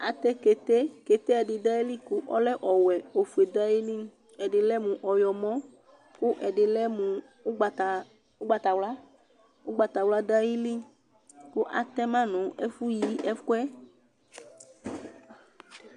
Atɛ kete : kete ɛdɩ dʋ ayili kʋ ɔlɛ ɔwɛ , ofue dʋ ayili ;ɛdɩ lɛ mʋ ɔyɔmɔ , kʋ ɛdɩ lɛ mʋ ʋgbata ʋgbatawla Ʋgbawla dʋ ayili kʋ atɛ ma nʋ ɛfʋ yi ɛkʋɛ